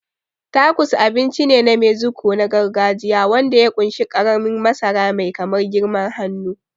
Tacos abinci ne na Mexico na gargajiya wanda ya ƙunshi ƙaramin masara mai kamar girman hannu.